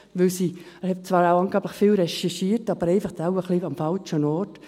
Er hat zwar angeblich viel recherchiert, aber wohl einfach ein wenig am falschen Ort.